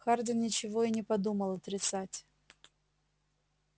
хардин ничего и не подумал отрицать